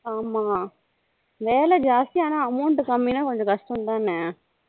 ஆமா வேலை ஜாஸ்த்தி ஆனா amount கம்மினா கொஞ்சம் கஷ்டம் தானா